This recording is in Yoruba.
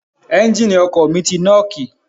Ẹ́ńgìnì ọkọ̀ mi ti nọ́ọ̀kì.